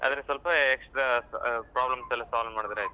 ಆದ್ರೆ ಸ್ವಲ್ಪ extra problems ಎಲ್ಲ solve ಮಾಡಿದ್ರೆ ಆಯ್ತು.